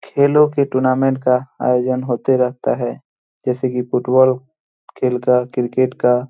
खेलो के टूर्नामेंट का आयोजन होते रहता हैं जैसे की फुटबॉल खेल का क्रिकेट का --